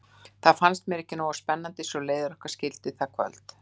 Það fannst mér ekki nógu spennandi svo leiðir okkar skildi það kvöldið.